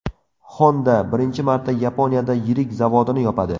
Honda birinchi marta Yaponiyada yirik zavodini yopadi.